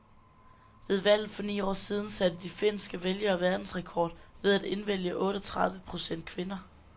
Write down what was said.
Ved valget for ni år siden satte de finske vælgere verdensrekord ved at indvælge otteogtredive procent kvinder.